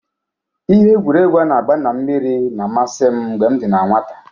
Ihe egwuregwu a na-agba n'elu mmiri na-amasi m mgbe m dị na nnwata.